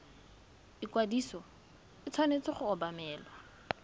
ikwadiso e tshwanetse go obamelwa